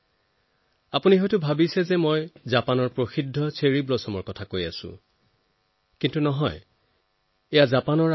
এতিয়া আপোনালোকে হয়তো ভাবিছে যে মই যি চেৰী ফুলৰ কথা কৈছো সেয়া জাপানৰ এই প্ৰসিদ্ধ পৰিচিতিৰ কথা কৈছো